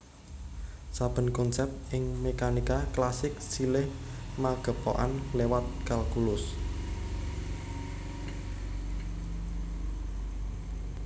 Saben konsèp ing mékanika klasik silih magepokan liwat kalkulus